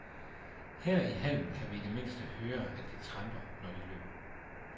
Her i hallen kan vi i det mindste høre, at de tramper, når de løber.